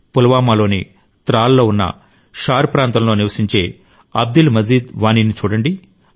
పుల్వామాలోని త్రాల్ లో ఉన్న షార్ ప్రాంతంలో నివసించే అబ్దుల్ మజీద్ వానీ ని చూడండి